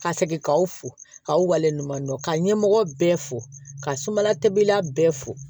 Ka segin k'aw fo k'aw waleɲumandɔn ka ɲɛmɔgɔ bɛɛ fo ka sumala tobila bɛɛ fo